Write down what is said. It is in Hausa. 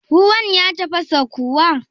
Ruwan ya tafasa kuwa?